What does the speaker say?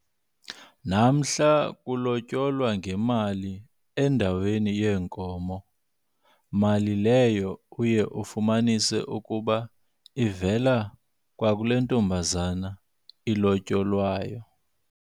Namhla kulotyolwa ngemali endaweni yeenkomo, mali leyo uye ufumanise ukuba ivela kwakulentombazana ilotyolwayo.